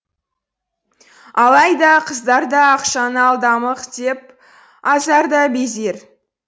алайда қыздар да ақшаны алдамық деп азар да безер